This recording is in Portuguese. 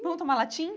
Vamos tomar latim?